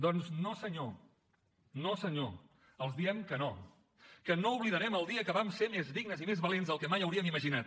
doncs no senyor no senyor els diem que no que no oblidarem el dia que vam ser més dignes i més valents del que mai hauríem imaginat